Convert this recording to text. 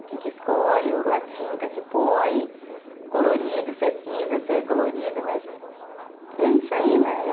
O que que escolhe, a tinta que põe, o colorido, se é cinza, se é colorida, mas é isso aí, né?